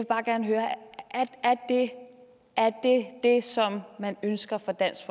bare gerne høre er det som man ønsker fra dansk